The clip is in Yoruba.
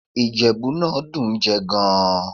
Ìjẹ̀bú náà dùn ún jẹ gan-an